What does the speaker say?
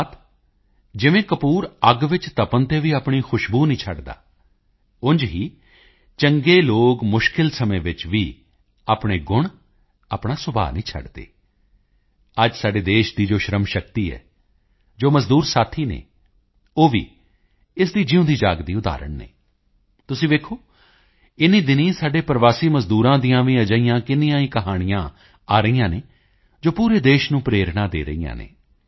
ਅਰਥਾਤ ਜਿਵੇਂ ਕਪੂਰ ਅੱਗ ਵਿੱਚ ਤਪਣ ਤੇ ਵੀ ਆਪਣੀ ਖੁਸ਼ਬੂ ਨਹੀਂ ਛੱਡਦਾ ਉਂਝ ਹੀ ਚੰਗੇ ਲੋਕ ਮੁਸ਼ਕਿਲ ਸਮੇਂ ਵਿੱਚ ਵੀ ਆਪਣੇ ਗੁਣ ਆਪਣਾ ਸੁਭਾਅ ਨਹੀਂ ਛੱਡਦੇ ਅੱਜ ਸਾਡੇ ਦੇਸ਼ ਦੀ ਜੋ ਸ਼੍ਰਮ ਸ਼ਕਤੀ ਹੈ ਜੋ ਮਜ਼ਦੂਰ ਸਾਥੀ ਹਨ ਉਹ ਵੀ ਇਸ ਦੀ ਜਿਊਂਦੀਜਾਗਦੀ ਉਦਾਹਰਣ ਹਨ ਤੁਸੀਂ ਵੇਖੋ ਇਨ੍ਹੀਂ ਦਿਨੀਂ ਸਾਡੇ ਪ੍ਰਵਾਸੀ ਮਜ਼ਦੂਰਾਂ ਦੀਆਂ ਵੀ ਅਜਿਹੀਆਂ ਕਿੰਨੀਆਂ ਹੀ ਕਹਾਣੀਆਂ ਆ ਰਹੀਆਂ ਹਨ ਜੋ ਪੂਰੇ ਦੇਸ਼ ਨੂੰ ਪ੍ਰੇਰਣਾ ਦੇ ਰਹੀਆਂ ਹਨ ਯੂ